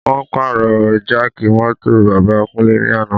Wọ́n pàrọ̀ jáàkì mọ́tò bàbá Kúnlé ní àná